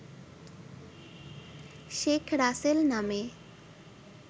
শেখ রাসেল নামে